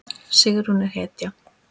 Sigrún er hetja!